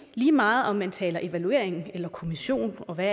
lige meget om man taler evaluering eller kommission og hvad